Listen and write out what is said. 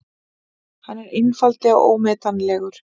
Hann er einfaldlega ómetanlegur.